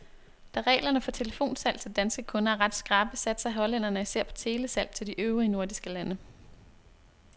Da reglerne for telefonsalg til danske kunder er ret skrappe, satser hollænderne især på telesalg til de øvrige nordiske lande.